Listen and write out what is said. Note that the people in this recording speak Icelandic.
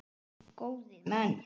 Góðir menn!